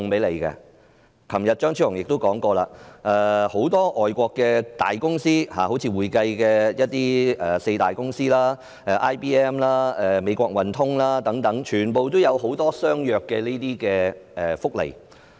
昨天，張超雄議員也說過，很多外國公司，例如會計界的四大公司、IBM、美國運通等，全部也有相若的福利。